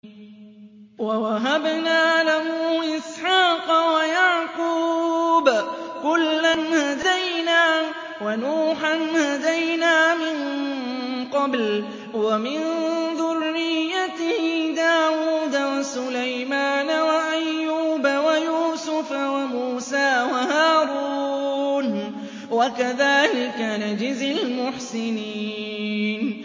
وَوَهَبْنَا لَهُ إِسْحَاقَ وَيَعْقُوبَ ۚ كُلًّا هَدَيْنَا ۚ وَنُوحًا هَدَيْنَا مِن قَبْلُ ۖ وَمِن ذُرِّيَّتِهِ دَاوُودَ وَسُلَيْمَانَ وَأَيُّوبَ وَيُوسُفَ وَمُوسَىٰ وَهَارُونَ ۚ وَكَذَٰلِكَ نَجْزِي الْمُحْسِنِينَ